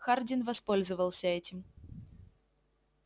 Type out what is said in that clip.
хардин воспользовался этим